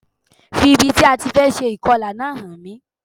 Fi ibi tí a ti fẹ́ se ìkọlà náà hàn mí